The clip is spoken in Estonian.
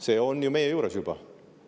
See on ju meie juures juba.